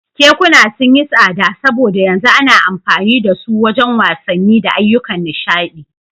Kekuna sun yi tsada saboda yanzu ana amfani da su wajen wasanni da ayyukan nishaɗi.